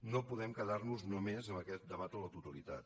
no podem quedar nos només en aquest debat a la totalitat